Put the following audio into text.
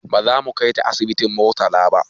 Baza mu kaita asibitin murtala ba